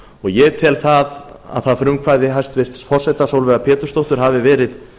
ég tel að það frumkvæði hæstvirts forseta sólveigar pétursdóttur hafi verið